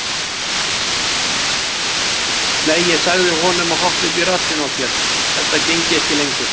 Nei, ég sagði honum að hoppa upp í rassinn á sér, þetta gengi ekki lengur.